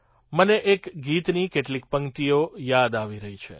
મને એક ગીતની કેટલીક પંક્તિઓ યાદ આવી રહી છે